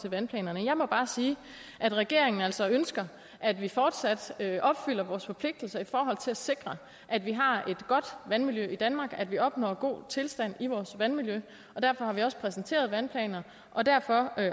til vandplanerne jeg må bare sige at regeringen altså ønsker at vi fortsat opfylder vores forpligtelse i forhold til at sikre at vi har et godt vandmiljø i danmark at vi opnår en god tilstand i vores vandmiljø derfor har vi også præsenteret vandplanerne og derfor